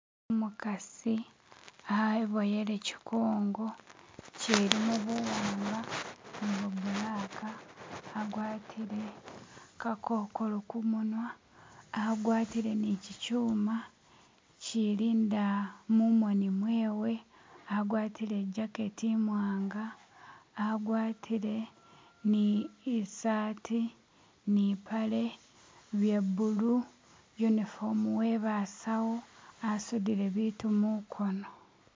Umukasi aboyele chikongo chilimo buwanga nibo bulaka agwatile kakokolo kumunwa agwatile ni chi kyuma chilinda mumoni mwewe agwatile ijaketi imwanga agwatile ni isaati ni paale ye bulu uniform webasau asudile bitu mukono